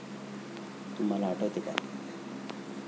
तुम्हाला आठवते का?